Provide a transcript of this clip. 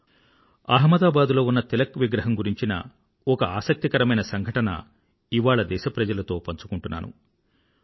లోకమాన్య తిలక్ అహ్మదాబాద్ లో ఉన్న ఒక తిలక్ విగ్రహము గురించిన ఒక ఆసక్తికరమైన సంఘటన ఇవాళ దేశప్రజలతో పంచుకుంటున్నాను